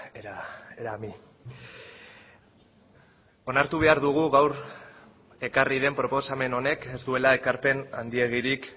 era a mí onartu behar dugu gaur ekarri den proposamen honek ez duela ekarpen handiegirik